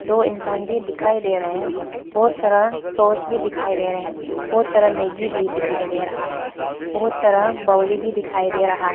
दो इंसान भी दिखाई दे रहे हैं बहुत सारा सॉस भी दिखाई दे रहे हैं बहुत सारा मैगी भी दिखाई दे रहा है बहुत सारा भी दिखाई दे रहा है।